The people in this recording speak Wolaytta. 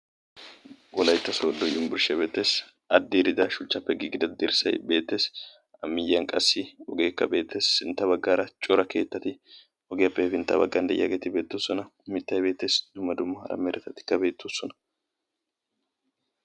Wolaytta sodo yunburshshiya shuchcha be'etees. A dirida shuchchappe gigida dirssay beetees. A miyiyan qassi ogekka beetees. Sintta baggaara cora keettati ogiyappe hefinttabaggan deiyageti beetosona. Mittay beetees; dumma dumma meretatika beetosona.